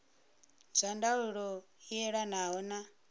zwa ndaulo i elanaho na